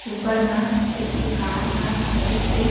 ऊपर मा एक ठी कार हा खड़ीस हे।